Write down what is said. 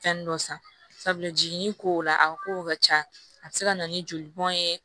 Fɛn dɔ san sabula jiginni kow la a ka kow ka ca a bɛ se ka na ni joli bɔn ye